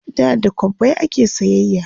da da kwabbai ake sayayya